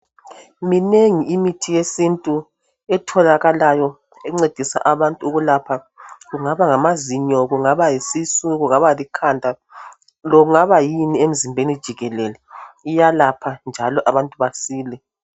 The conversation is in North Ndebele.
Minengi imithi yesintu etholakalayo encedisa abantu ukulapha. Kungaba ngamazinyo, kungaba yisisu, kungaba likhanda, loba kungaba yini emzimbeni jikelele. Iyalapha njalo abantu basile.